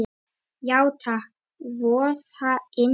Já takk, voða indælt